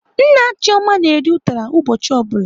Nna Chioma na-eri ụtara ụbọchị ọ bụla.